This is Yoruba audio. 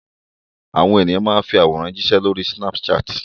Àwọn ènìyàn máa fi àwòrán jíṣẹ́ lórí Snapchat.